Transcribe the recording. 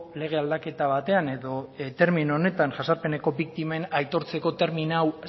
lege aldaketa batean edo termino honetan jazarpeneko biktimen aitortzeko termino hau